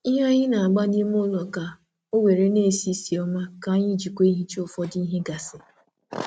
Ụdị ikaikuku na-esi ísì ụtọ na amasi anyi na-arụkwa ọrụ dị ka ncha dị ncha dị nro maka obere ebe.